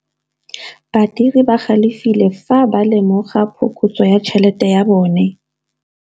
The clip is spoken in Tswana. Badiri ba galefile fa ba lemoga phokotsô ya tšhelête ya bone.